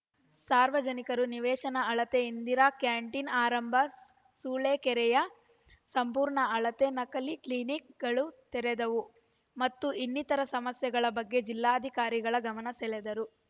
ಸಾರ್ವಜನಿಕರು ನಿವೇಶನ ಅಳತೆ ಇಂದಿರಾ ಕ್ಯಾಟೀನ್‌ ಆರಂಭ ಸು ಸೂಳೆಕೆರೆಯ ಸಂಪೂರ್ಣ ಅಳತೆ ನಕಲಿ ಕ್ಲೀನಿಕ್‌ಗಳ ತೆರವು ಮತ್ತು ಇನ್ನಿತರೆ ಸಮಸ್ಯೆಗಳ ಬಗ್ಗೆ ಜಿಲ್ಲಾಧಿಕಾರಿಗಳ ಗಮನ ಸೆಳೆದರು